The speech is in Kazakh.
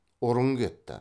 ұрын кетті